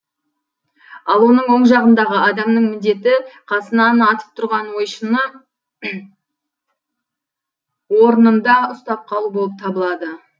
ал оның оң жағындағы адамның міндеті қасынан атып тұрған ойшыны орнында ұстап қалу болып табылады